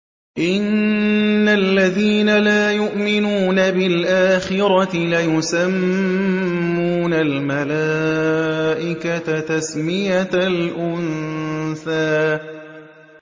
إِنَّ الَّذِينَ لَا يُؤْمِنُونَ بِالْآخِرَةِ لَيُسَمُّونَ الْمَلَائِكَةَ تَسْمِيَةَ الْأُنثَىٰ